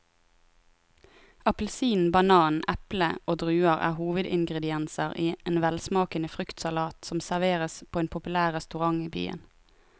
Appelsin, banan, eple og druer er hovedingredienser i en velsmakende fruktsalat som serveres på en populær restaurant i byen.